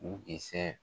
U dɛsɛ